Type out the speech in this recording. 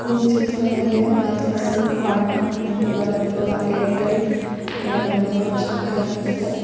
ಚಿತ್ರದಲ್ಲಿ authorised partner ಎಂದು ಬರೆದಿರುವ ಏರ್ಟೆಲ್ ಎಂದು ಬರೆದಿರುವ ಸ್ಟಿಕರ್ ಇದೆ.